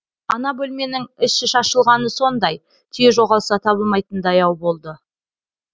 ана бөлменің іші шашылғаны сондай түйе жоғалса табылмайтындай ау болды